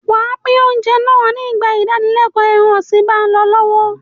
Wà á pín oúnjẹ náà nígbà ìdánilẹ́ẹ̀kọ́ ẹran-ọ̀sìn bá ń lọ lọ́wọ́.